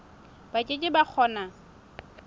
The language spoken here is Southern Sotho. ba ke ke ba kgona